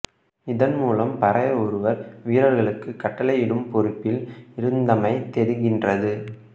இதன் மூலம் பரையர் ஒருவர் வீரர்களுக்கு கட்டளையிடும் பொறுப்பில் இருந்தமை தெரிகின்றது